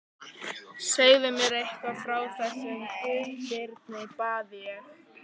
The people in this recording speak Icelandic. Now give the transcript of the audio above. Segðu mér eitthvað frá þessum Guðbirni, bað ég.